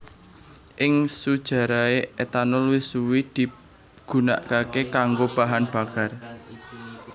Ing sujarahé etanol wis suwé digunakaké kanggo bahan bakar